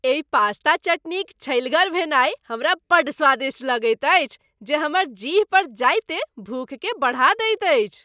एहि पास्ता चटनीक छल्हिगर भेनाइ हमरा बड़ स्वादिष्ट लगैत अछि जे हमर जीह पर जाइते भूखकेँ बढ़ा दैत अछि।